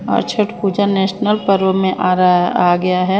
और छट पूजा नेशनल पर्व में आ रहा आ गया है।